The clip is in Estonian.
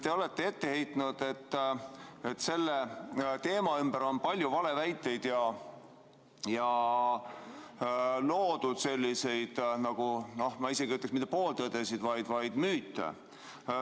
Te olete ette heitnud, et selle teema ümber on palju valeväiteid ja loodud selliseid, noh, ma isegi ütleksin, mitte pooltõdesid, vaid müüte.